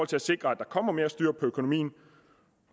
til at sikre at der kommer mere styr på økonomien